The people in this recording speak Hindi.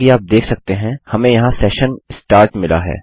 जैसा कि आप देख सकते हैं हमें यहाँ session start मिला है